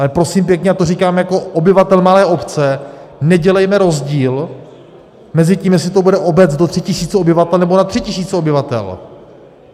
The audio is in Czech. Ale prosím pěkně, já to říkám jako obyvatel malé obce, nedělejme rozdíl mezi tím, jestli to bude obec do tří tisíc obyvatel, nebo nad tři tisíce obyvatel.